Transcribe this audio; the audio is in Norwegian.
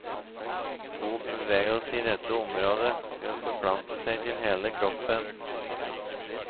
God bevegelse i dette området vil forplante seg til hele kroppen.